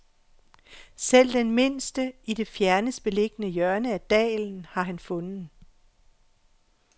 Selv den mindste, i det fjernest beliggende hjørne af dalen, har han fundet.